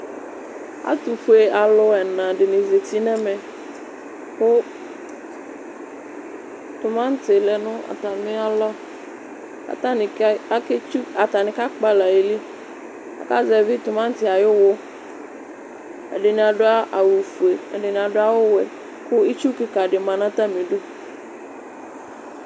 Asi fue ɛnadini zati nɛmɛ ku timati lɛ nu atamialɔ atani kakpala ayili azɛvi timati ayu uwu ɛdini adu awu fue ɛdini adu wɛ ku itsu kika di ma nu atamidu